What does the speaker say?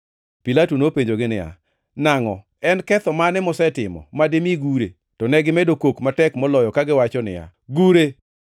Pilato nopenjogi niya, “Nangʼo, en ketho mane mosetimo madimi gure?” To negimedo kok matek moloyo kagiwacho niya, “Gure!”